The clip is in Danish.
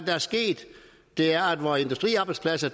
er sket det er at vores industriarbejdspladser